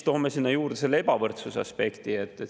Toome sinna juurde selle ebavõrdsuse aspekti.